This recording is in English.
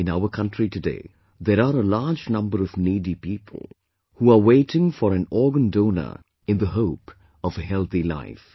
In our country today there are a large number of needy people who are waiting for an organ donor in the hope of a healthy life